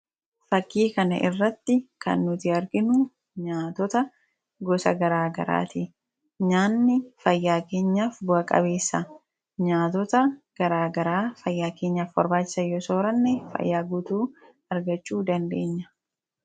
Fakkii kana irratti kan nuti arginu nyaatota gosa garaagaraati. Nyaanni fayyaa keenyaaf bu'a-qabeessa. Nyaatota garaagaraa fayyaa keenyaaf barbaachisan yoo sooranne, fayyaa guutuu argachuu dandeenya.